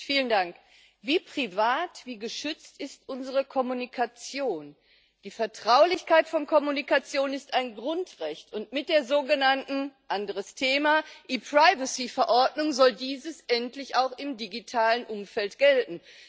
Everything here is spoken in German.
Frau Präsidentin! Wie privat, wie geschützt ist unsere Kommunikation? Die Vertraulichkeit von Kommunikation ist ein Grundrecht, und mit der sogenannten anderes Thema Verordnung soll dies endlich auch im digitalen Umfeld gelten.